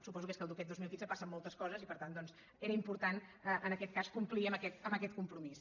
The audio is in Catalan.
suposo que és que aquest dos mil quinze passen moltes coses i per tant era important en aquest cas complir amb aquest compromís